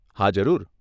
હા, જરૂર.